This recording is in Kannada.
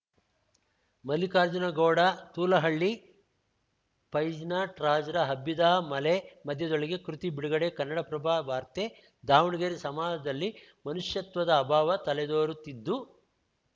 ಮಲ್ಲಿಕಾರ್ಜುನಗೌಡ ತೂಲಹಳ್ಳಿ ಫೈಜ್ನಟ್ರಾಜ್‌ರ ಹಬ್ಬಿದಾ ಮಲೆ ಮಧ್ಯದೊಳಗೆ ಕೃತಿ ಬಿಡುಗಡೆ ಕನ್ನಡಪ್ರಭ ವಾರ್ತೆ ದಾವಣಗೆರೆ ಸಮಾಜದಲ್ಲಿ ಮನುಷ್ಯತ್ವದ ಅಭಾವ ತಲೆದೋರುತ್ತಿದ್ದು